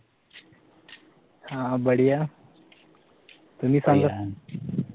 अह बढिया तुम्ही सांगा